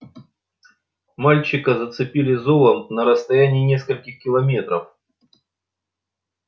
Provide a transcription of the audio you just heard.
мальчика зацепили зовом на расстоянии нескольких километров